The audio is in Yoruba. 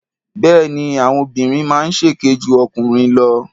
Bẹ́ẹ̀ni, àwọn obìnrin máa ń ṣèké ju ọkùnrin lọ.